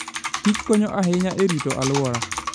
kich konyo ahinya e rito alwora.